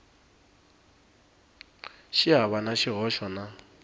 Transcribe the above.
xi hava na xihoxo na